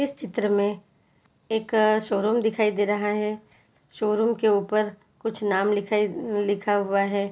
इस चित्र में एक शोरूम दिखाई दे रहा है शोरूम के ऊपर कुछ नाम लिखाई लिखा हुआ है।